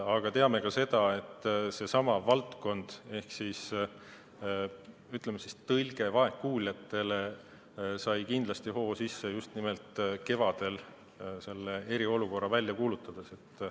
Aga teame ka seda, et seesama valdkond ehk ütleme, tõlge vaegkuuljatele, sai kindlasti hoo sisse just nimelt kevadel eriolukorra välja kuulutades.